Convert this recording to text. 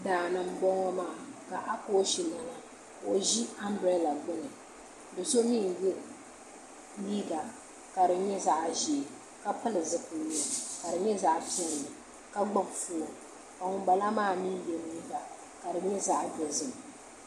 Daani n boŋo maa ka akooch lana ka o ʒi anbirɛla gbuni do so mii n yɛ liiga ka di nyɛ zaɣ ʒiɛ ka pili zipiligu ka di nyɛ zaɣ piɛlli ka gbubi foon ka ŋun bala maa mii yɛ liiga ka di nyɛ zaɣ dozim